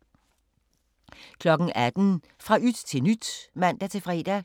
18:00: Fra yt til nyt (man-fre)